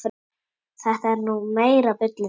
Þetta er nú meira bullið.